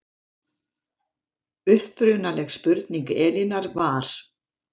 Upprunaleg spurning Elínar var